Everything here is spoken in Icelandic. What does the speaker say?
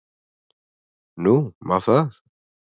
Nú, má það?